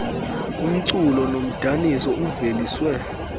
umculo nomdaniso uveliswe